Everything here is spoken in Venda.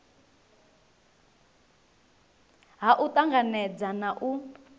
ha u tanganedza na u